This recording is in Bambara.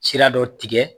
Sira dɔ tigɛ